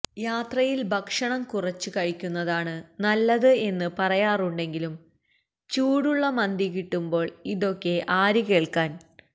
യാത്രയിൽ ഭക്ഷണം കുറച്ച് കഴിക്കുന്നതാണ് നല്ലത് എന്ന് പറയാറുണ്ടെങ്കിലും ചൂടുള്ള മന്തി കിട്ടുമ്പോൾ ഇതൊക്കെ ആര് കേൾക്കാൻ